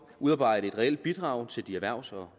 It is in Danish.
udarbejde et reelt bidrag til de erhvervs og